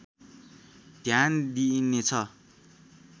ध्यान दिइनेछ